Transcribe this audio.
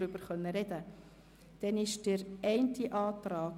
Dann gehen wir es so vor.